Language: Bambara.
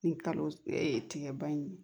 Ni kalo ee tigɛba in